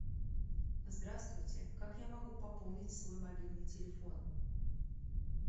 здравствуйте как я могу пополнить свой мобильный телефон